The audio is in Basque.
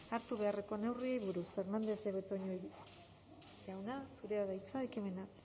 hartu beharreko neurriei buruz fernandez de betoño jauna zurea da hitza ekimena